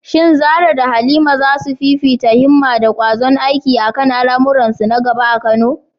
Shin Zarah da Halima za su fifita himma da ƙwazon aiki a kan al’amuransu na gaba a Kano?